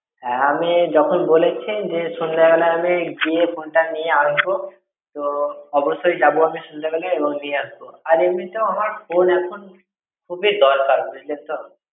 হ্যাঁ আমি যখন বলেছি যে সন্ধ্যেবেলা আমি গিয়ে phone টা নিয়ে আসবে তো অবশ্যই যাবো আমি সন্ধ্যেবেলা এবং নিয়ে আসব আর এমনিতেও আমার phone এখন খুবই দরকার বুঝলেন তো।